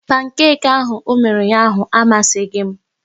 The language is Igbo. Pankeki ahụ ọ mere ụnyaahụ amaghị m